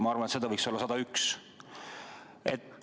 Ma arvan, et neid võiks olla 101.